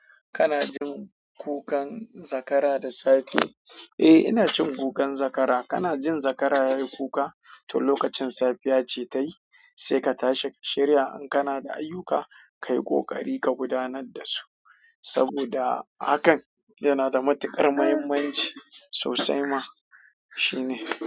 Kana jin kukan zakara da safe? Eh, ina jin kukan zakara. Kana jin zakara yayi kuka to lokacin safiya ce tayi sai ka tashi ka shirya in kana da ayyuka, kai ƙoƙari ka gudanar da su saboda hakan yana da matuƙar muhimmanci sosai ma. Shi ne.